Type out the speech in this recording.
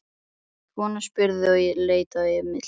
spurði konan og leit á Emil.